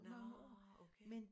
Nårh okay